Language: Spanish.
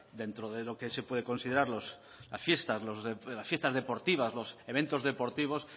dentro de lo que se puede considerar las fiestas deportivas los eventos deportivos